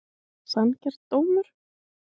Sanngjarn dómur?